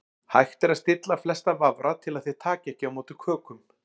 Hægt er að stilla flesta vafra til að þeir taki ekki á móti kökum.